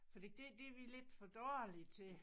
Fordi det det er vi lidt for dårlige til